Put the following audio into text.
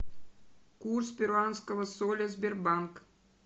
курс перуанского соля сбербанк